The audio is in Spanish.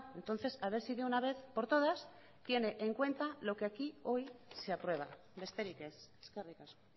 entonces a ver si de una vez por todas tiene en cuenta lo que aquí hoy se aprueba besterik ez eskerrik asko